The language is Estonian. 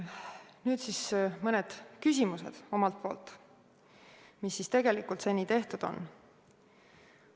Nüüd siis mõned küsimused omalt poolt, mis siis tegelikult seni tehtud on.